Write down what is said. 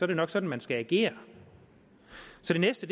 det nok sådan man skal agere så det næste